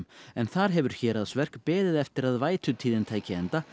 en þar hefur Héraðsverk beðið eftir að vætutíðin tæki enda